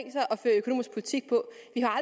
vi til